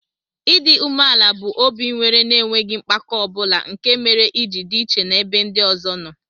Idi umeala bu obi inwere na enweghi mpako obula nke mere iji di iche na ebe ndi ọzọ noo.